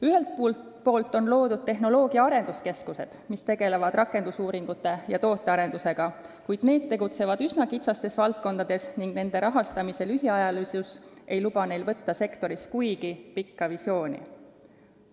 Ühelt poolt on loodud tehnoloogia arenduskeskused, mis tegelevad rakendusuuringute ja tootearendusega, kuid need tegutsevad üsna kitsastes valdkondades ning nende rahastamise lühiajalisus ei luba neil töötada sektoris kuigi pika visiooniga.